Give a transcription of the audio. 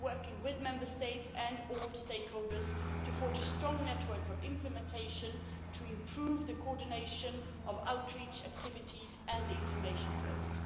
We are working with Member States and all stakeholders to forge a strong network of implementation to improve the coordination of outreach activities and the information flows.